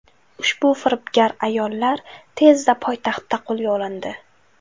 Ushbu firibgar ayollar tezda poytaxtda qo‘lga olindi.